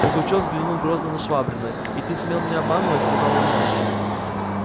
пугачёв взглянул грозно на швабрина и ты смел меня обманывать сказал он ему